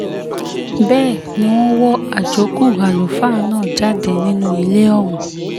bẹ́ẹ̀ ni wọ́n wọ àjókù àlùfáà náà jáde nínú ilé ọ̀hún